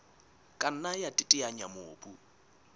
ka nna ya teteanya mobu